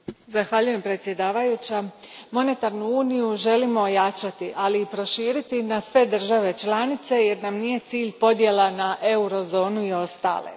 Gospođo predsjednice, monetarnu uniju želimo ojačati, ali i proširiti na sve države članice jer nam nije cilj podjela na eurozonu i ostale.